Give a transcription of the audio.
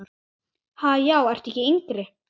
Ha, já ertu ekki yngri!